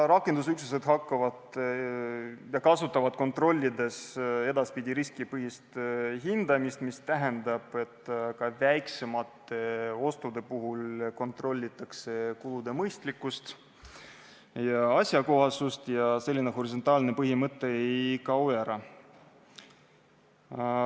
Rakendusüksused kasutavad kontrollides edaspidi riskipõhist hindamist, mis tähendab, et ka väiksemate ostude puhul kontrollitakse kulude mõistlikkust ja asjakohasust ning selline horisontaalne põhimõte ei kao ära.